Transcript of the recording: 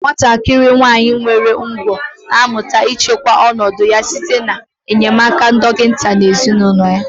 Nwatakịrị nwanyị nwere ụgwọ̀ na-amụta ịchịkwa ọnọdụ ya site n'enyemaka nke dọkịta na ezinụlọ ya